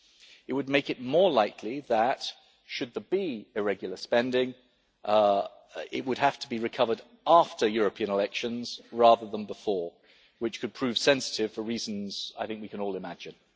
It would make it more likely that, should there be irregular spending, it would have to be recovered after European elections rather than before, which could prove sensitive for reasons we can all imagine.